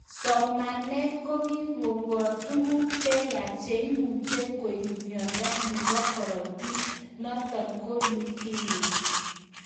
Somanet kokikobor tuguk cheyach cheimuche koib myondo nebo korotik noton ko leukemia